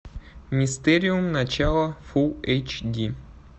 мистериум начало фул эйч ди